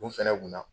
U fɛnɛ kunna